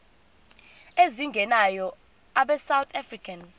ezingenayo abesouth african